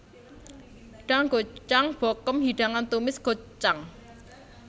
Danggochujang bokkeum hidangan tumis gochujang